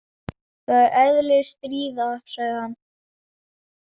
Það er eðli stríða, sagði hann.